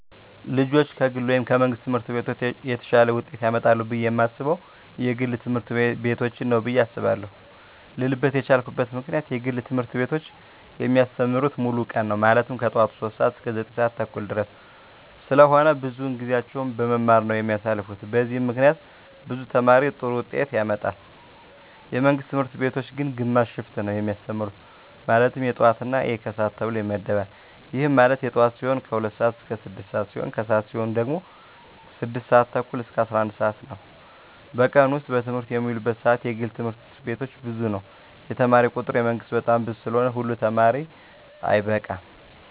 ልጆች ከግል ወይም ከመንግሥት ትምህርት ቤቶች የተሻለ ውጤት ያመጣሉ ብየ የማስበው የግል ትምህርት ቤቶችን ነው ብየ አስባለው ልልበት የቻልኩት ምክንያት የግል ትምህርት ቤቶች የሚያስተምሩት ሙሉ ቀን ነው ማለትም ከጠዋቱ 3:00 ሰዓት እስከ 9:30 ድረስ ስለሆነ ብዙውን ጊዜያቸውን በመማማር ነው የሚያሳልፉት በዚህም ምክንያት ብዙ ተማሪ ጥሩ ውጤት ያመጣል። የመንግስት ትምህርት ቤቶች ግን ግማሽ ሽፍት ነው የሚያስተምሩ ማለትም የጠዋት እና የከሰዓት ተብሎ ይመደባል ይህም ማለት የጠዋት ሲሆኑ 2:00 ስዓት እስከ 6:00 ሲሆን የከሰዓት ሲሆኑ ደግሞ 6:30 እስከ 11:00 ነው በቀን ውስጥ በትምህርት የሚውሉበት ሰዓት የግል ትምህርት ቤቶች ብዙ ነው የተማሪ ቁጥሩ የመንግስት በጣም ብዙ ስለሆነ ሁሉ ተማሪ አይበቃም።